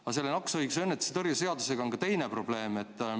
Aga selle nakkushaiguste ennetuse ja tõrje seadusega seoses on ka teine probleem.